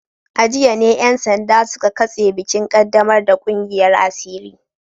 A jiya ne ‘yan sanda suka katse bikin kaddamar da kungiyar asiri